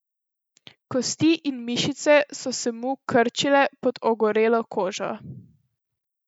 Kosti in mišice so se mu krčile pod ogorelo kožo.